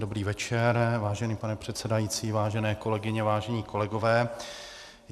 Dobrý večer, vážený pane předsedající, vážené kolegyně, vážení kolegové.